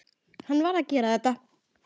Hann varð að gera þetta.